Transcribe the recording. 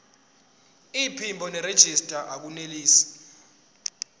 iphimbo nerejista akunelisi